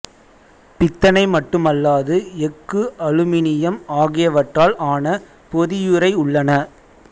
பித்தளை மட்டுமல்லாது எஃகு அலுமினியம் ஆகியவற்றால் ஆன பொதியுறை உள்ளன